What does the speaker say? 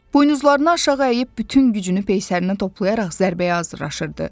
Buynuzlarını aşağı əyib bütün gücünü peysərinə toplayaraq zərbəyə hazırlaşırdı.